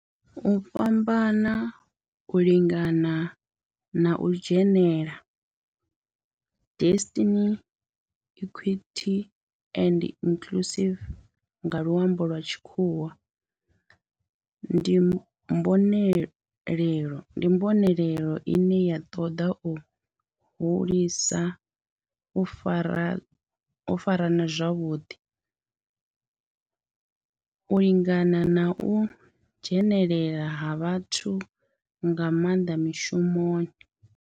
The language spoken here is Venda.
U fhambana, u lingana na u dzhenelela diversity, equity and inclusion nga lwambo lwa tshikhuwa ndi mbonelelo ine ya toda u hulisa u farana zwavhuḓi, u lingana na u dzhenelela ha vhathu nga maanḓa mishumoni.